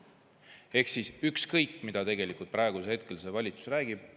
Ehk on ükskõik, mida see valitsus praegu räägib.